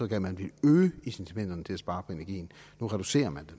at man ville øge incitamenterne til at spare på energien nu reducerer man